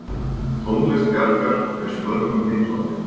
Tónlist Bjarkar finnst mörgum heillandi.